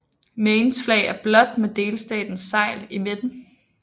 Maines flag er blåt med delstatens segl i midten